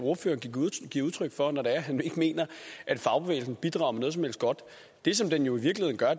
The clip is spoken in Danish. ordføreren giver udtryk for når det er han ikke mener at fagbevægelsen bidrager med noget som helst godt det som den jo i virkeligheden gør